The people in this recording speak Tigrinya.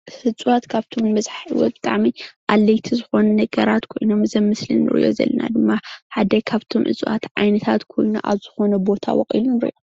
እፅዋት ካብቶም ብዛሓት ብጣዕሚ አድለይቲ ዝኮኑ ነገራት ኮይኖም እዚ አብ ምስሊ እንርኦ ዘለና ድማ ሓደ ካብቶም ዓይነት እፅዋት ኮይኑ አብ ዝኮነ ቦታ በቂሉ ንሪኦ፡፡